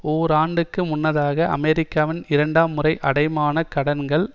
ஓர் ஆண்டுக்கு முன்னதாக அமெரிக்காவின் இரண்டாம் முறை அடைமான கடன்கள்